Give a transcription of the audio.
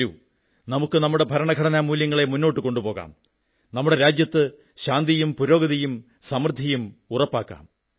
വരൂ നമുക്ക് നമ്മുടെ ഭരണഘടനാമൂല്യങ്ങളെ മുന്നോട്ടു കൊണ്ടോപോകാം നമ്മുടെ രാജ്യത്ത് ശാന്തിയും പുരോഗതിയും സമൃദ്ധിയും ഉറപ്പാക്കാം